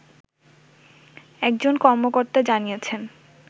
একজন কর্মকর্তা জানিয়েছেন